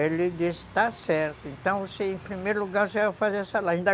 Ele disse, está certo, então em primeiro lugar você vai fazer essa